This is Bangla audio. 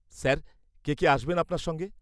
-স্যার, কে কে আসবেন আপনার সঙ্গে?